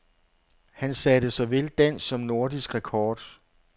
Han satte såvel dansk som nordisk rekord.